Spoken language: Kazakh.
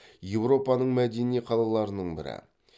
европаның мәдени қалаларының бірі